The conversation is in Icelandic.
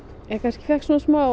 ég fékk